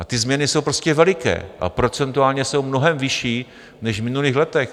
A ty změny jsou prostě veliké a procentuálně jsou mnohem vyšší než v minulých letech.